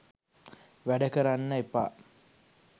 වැඩ කරන්න එපා